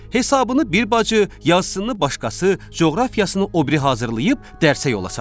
Hesabını bir bacı, yazsınını başqası, coğrafiyasını o biri hazırlayıb dərsə yola salırdı.